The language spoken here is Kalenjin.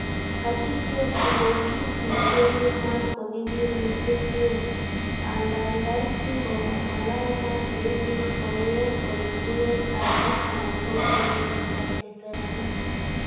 Ak igeer ile kit nekonu maat ko kikinde komyee, angandan si ko malal maat neimuch kong'em ele ruen aarek anan ko kebebertab keserait.